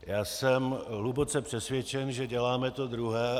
Já jsem hluboce přesvědčen, že děláme to druhé.